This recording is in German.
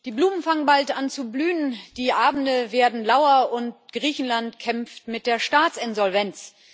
Die Blumen fangen bald an zu blühen, die Abende werden lauer und Griechenland kämpft mit der Staatsinsolvenz.